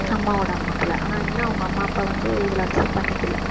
அம்மாவோட அம்மா போல ஆனா இன்னும் அவங்க அம்மா அப்பா வந்து இவள accept பண்ணிக்கல